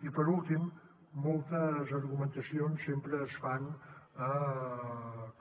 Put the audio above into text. i per últim moltes argumentacions sempre es fan